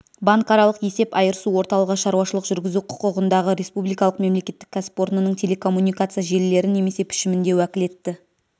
банкаралық есеп айырысу орталығы шаруашылық жүргізу құқығындағы республикалық мемлекеттік кәсіпорнының телекоммуникация желілері немесе пішімінде уәкілетті